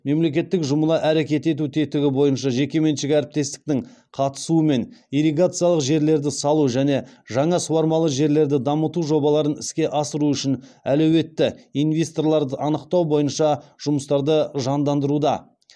мемлекеттік жұмыла әрекет ету тетігі бойынша жекеменшік әріптестіктің қатысуымен ирригациялық жерлерді салу және жаңа суармалы жерлерді дамыту жобаларын іске асыру үшін әлеуетті инвесторларды анықтау бойынша жұмыстарды жандандыруда